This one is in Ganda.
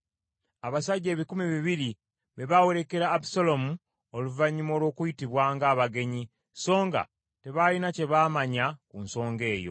Abasajja ebikumi bibiri be baawerekera Abusaalomu oluvannyuma olw’okuyitibwa ng’abagenyi, songa tebaalina kye baamanya ku nsonga eyo.